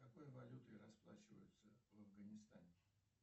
какой валютой расплачиваются в афганистане